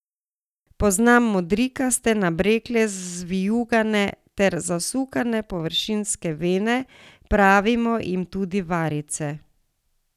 Poznamo modrikaste, nabrekle, zvijugane ter zasukane površinske vene, pravimo jim tudi varice.